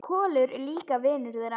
Kolur er líka vinur þeirra.